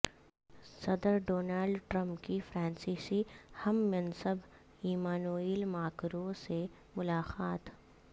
صدر Donald Trump کی فرانسیسی ہم منصب ایمانوئل ماکروں سے ملاقات